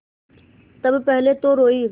तब पहले तो रोयी